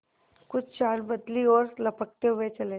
कुछ चाल बदली और लपकते हुए चले